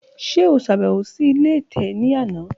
Ṣe o ṣabẹwo si ile ẹtẹ ni ana?